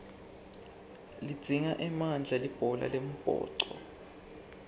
lidzinga emandla libhola lembhoco